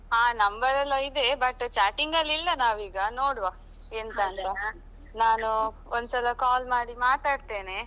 ಹಾ ನಂಬರೆಲ್ಲಾ ಇದೆ but chatting ಅಲ್ಲಿ ಇಲ್ಲ ನಾವೀಗ ನೋಡುವಾ ಎಂತ ಅಂತ ನಾನು ಒಂದ್ಸಲಾ call ಮಾಡಿ ಮಾತಾಡ್ತೇನೆ.